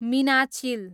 Meenachil